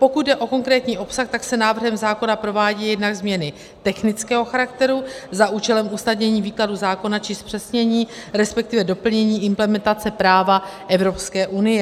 Pokud jde o konkrétní obsah, tak se návrhem zákona provádějí jednak změny technického charakteru za účelem usnadnění výkladu zákona či zpřesnění, respektive doplnění implementace práva Evropské unie.